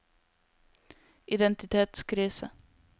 identitetskrise